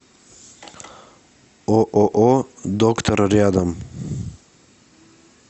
ооо доктор рядом